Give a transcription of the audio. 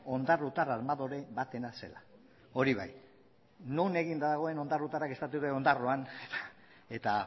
ondarrutar armadore batena zela hori bai non eginda dagoen ondarrutarrak esaten dute ondarroan eta